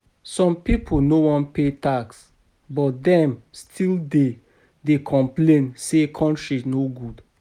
Some people no wan pay tax, but dem still dey, dey complain say country no good.